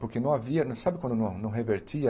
Porque não havia, sabe quando não não revertia?